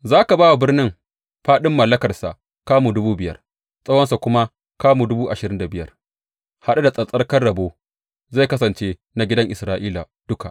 Za ka ba wa birnin fāɗin mallakarsa kamu dubu biyar, tsawonsa kuma dubu ashirin da biyar, haɗe da tsattsarkan rabo; zai kasance na gidan Isra’ila duka.